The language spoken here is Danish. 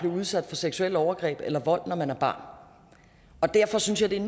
udsat for seksuelle overgreb eller vold når man er barn derfor synes jeg det er